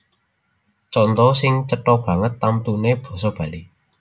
Conto sing cetha banget tamtuné basa Bali